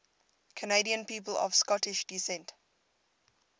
canadian people of scottish descent